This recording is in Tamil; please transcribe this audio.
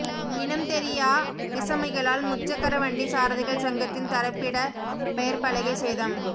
இனம் தெரியா விஸமிகளால் முச்சக்கரவண்டி சாரதிகள் சங்கத்தின் தரிப்பிட பெயர்ப்பலகை சேதம்